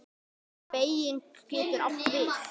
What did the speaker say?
Beyging getur átt við